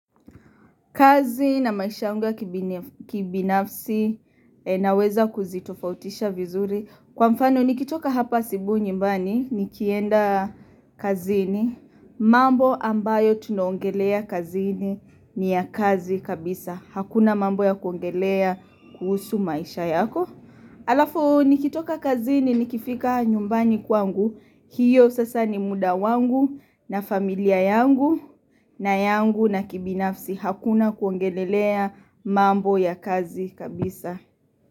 Kazi na maisha yangu ya kibinafsi naweza kuzitofautisha vizuri. Kwa mfano nikitoka hapa asubui nyumbani nikienda kazini. Mambo ambayo tunaongelea kazini ni ya kazi kabisa. Hakuna mambo ya kuongelea kuhusu maisha yako. Halafu nikitoka kazini nikifika nyumbani kwangu. Hiyo sasa ni muda wangu na familia yangu na yangu na kibinafsi. Hakuna kuangelelea mambo ya kazi kabisa.